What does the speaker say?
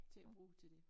Til at bruge til det